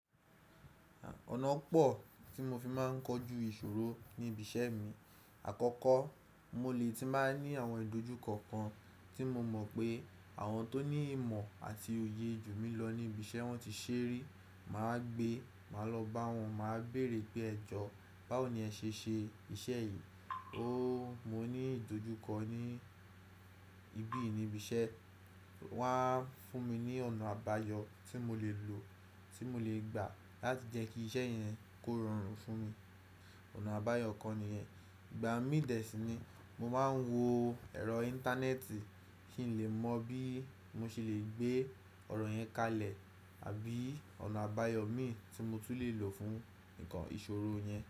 Ọ̀nàa pọ̀ tí mo fi máa ń kojú ìṣòro ní ibi iṣẹ́ mi. Àkọ́kọ́, mo lè ti máa ní àwọn ìdojúko kan tí mo mọ̀ pé àwọn tó ní ìmọ̀ àti òye jù mí lọ ní ibi iṣẹ́ wọ́n ti ṣẹ́e rí, màá gbé, màá lọ bá wọn, màá bèrè pé ẹ jọ, báwo ni ẹ ṣe ṣe iṣẹ́ yìí? Ooo, mo ní ìdojúkọ ni ìbíyii ní ibi iṣẹ́. Wọn á fún mi ní ọ̀nà àbáyọ tí mo lè lò, tí mo lè gbà láti jẹ́ kí iṣẹ́ yẹn kó rọrùn fún mi. Ọ̀nà àbáyọ̀ kan nìyẹn. Ìgbà mí dẹ̀ sí ní, mo máa ń wo ẹ̀rọ Íńtánẹ́ẹ̀tì kí n lè mọ̀ bí mo ṣe lè gbé ọ̀rọ̀ yẹn kalẹ̀ àbí ọ̀nà àbáyọ̀ imii tí mo tún lè lò fún nǹkan ìṣòro yẹn.